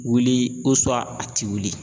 Wuli a ti wuli.